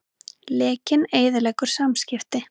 Lekinn eyðileggur samskipti